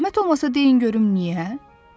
Zəhmət olmasa deyin görüm niyə?